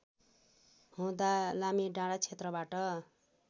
हुँदा लामीडाँडा क्षेत्रबाट